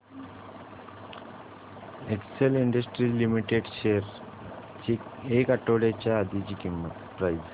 Excel industries limited shares ची एक आठवड्या आधीची प्राइस